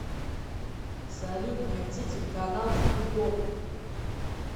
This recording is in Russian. салют найти телеканал футбол